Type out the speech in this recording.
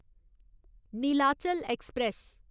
Nilachal express